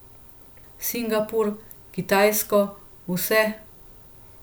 Singapur, Kitajsko, vse ...